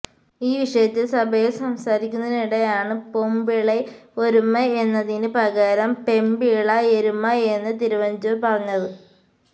ഈ വിഷയത്തില് സഭയില് സംസാരിക്കുന്നതിനിടെയാണ് പൊമ്പിളൈ ഒരുമൈ എന്നതിന് പകരം പെമ്പിള എരുമ എന്ന് തിരുവഞ്ചൂര് പറഞ്ഞത്